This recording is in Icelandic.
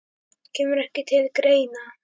Kemur ekki til greina